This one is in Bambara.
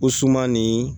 O suman nin